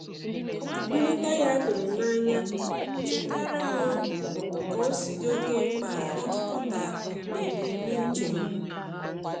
Nleta ya tụrụ m n'anya chetaara m ka-osi di oke mkpa ijikọta na ebumnuche m.